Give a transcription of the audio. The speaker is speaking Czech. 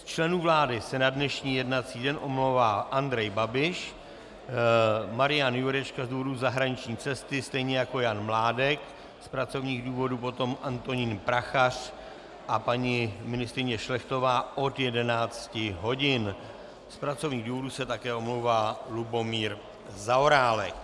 Z členů vlády se na dnešní jednací den omlouvá Andrej Babiš, Marian Jurečka z důvodu zahraniční cesty, stejně jako Jan Mládek, z pracovních důvodů potom Antonín Prachař a paní ministryně Šlechtová od 11 hodin, z pracovních důvodů se také omlouvá Lubomír Zaorálek.